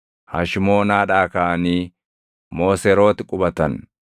Hashmoonaadhaa kaʼanii Mooserooti qubatan.